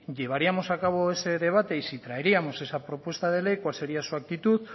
llevaríamos a cabo ese debate y si traeríamos esa propuesta de ley cuál sería su actitud